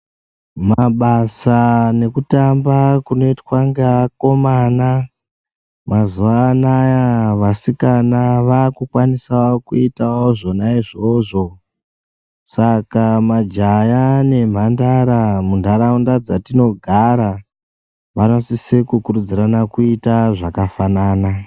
Mabasa nekutamba kunoitwa ngeakomana mazwanaya vaskana vakukwanisa kuita zvonayo izvozvo saka majaya nemhandara munharaunda dzatogara vanosise kukurudzirana kuita zvakafanana